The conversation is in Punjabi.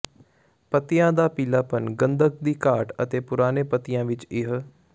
ਪੱਤਿਆਂ ਦਾ ਪੀਲਾਪਣ ਗੰਧਕ ਦੀ ਘਾਟ ਅਤੇ ਪੁਰਾਣੇ ਪੱਤਿਆਂ ਵਿਚ ਇਹ